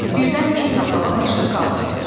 Birdən Ennala başını qaldırdı.